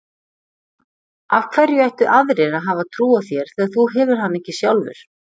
Af hverju ættu aðrir að hafa trú á þér þegar þú hefur hana ekki sjálfur?